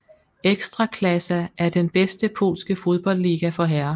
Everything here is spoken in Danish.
Ekstraklasa er den bedste polske fodboldliga for herrer